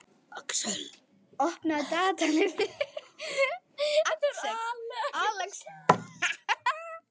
Alex, opnaðu dagatalið mitt.